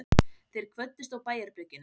Þeir kvöddust á bæjarbryggjunni.